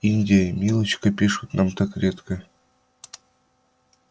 индия и милочка пишут нам так редко